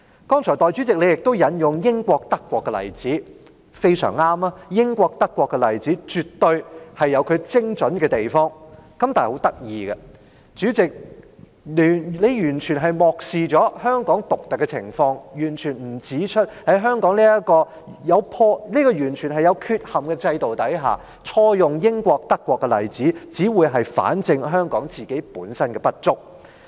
代理主席你剛才引用了英國和德國的例子，非常正確，英國和德國的例子絕對有其精準的地方，但很有趣，代理主席你完全漠視了香港獨特的情況，沒有指出在香港這個完全有缺憾的制度之下，錯用英國和德國的例子，只會反證香港本身的不足。